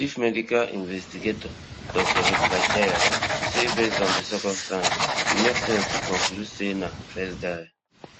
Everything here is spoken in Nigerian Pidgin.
chief medical investigator dr heather jarrell say based on di circumstances e make sense to conclude say na [betsy] first die